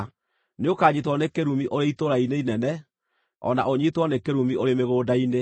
Nĩũkanyiitwo nĩ kĩrumi ũrĩ itũũra-inĩ inene o na ũnyiitwo nĩ kĩrumi ũrĩ mĩgũnda-inĩ.